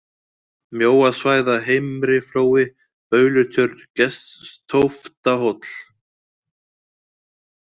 Mjóasvæða, Heimriflói, Baulutjörn, Geststóftahóll